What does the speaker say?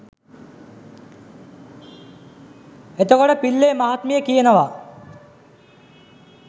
එතකොට පිල්ලේ මහත්මිය කියනවා